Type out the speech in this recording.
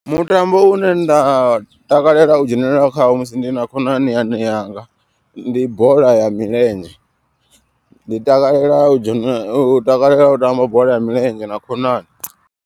Mutambo une nda takalela u dzhenelela khawo musi ndi na khonani yanga. Ndi bola ya milenzhe ndi takalela u tamba bola ya milenzhe na khonani.